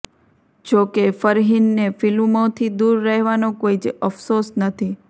જો કે ફરહીનને ફિલ્મોથી દૂર રહેવાનો કોઈ જ અફસોસ નથી